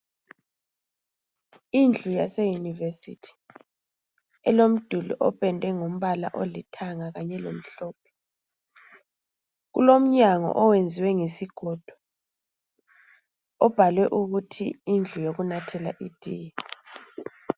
Indlu yase Yunivesi ependwe ngombala olithanga kanye lomhlophe. Kulomnyango owenzwe ngesigodo obhalwe ukuthi indlu yokunathela itiye.